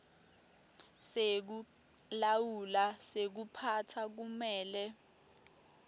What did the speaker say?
sekulawula sekuphatsa kumele